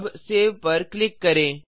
अब सेव पर क्लिक करें